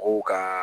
Mɔgɔw ka